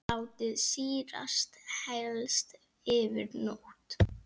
Látið sýrast helst yfir nótt.